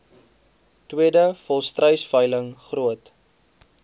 tweede volstruisveiling groot